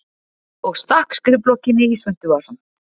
Og stakk skrifblokkinni í svuntuvasann.